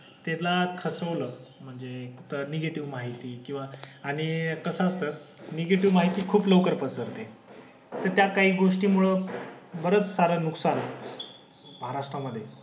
त्याला खचवलं. म्हणजे निगेटिव्ह माहिती किंवा आणि कसं असतं निगेटिव्ह माहिती खूप लवकर पसरते. तर त्या काही गोष्टींमुळं बरंच सारं नुकसान होतं. महाराष्ट्रामधे.